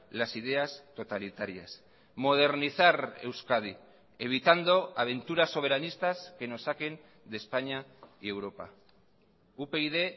las ideas totalitarias modernizar euskadi evitando aventuras soberanistas que nos saquen de españa y europa upyd